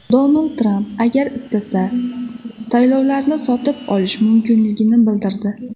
Donald Tramp agar istasa, saylovlarni sotib olishi mumkinligini bildirdi.